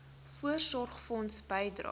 voorsorgfonds bydrae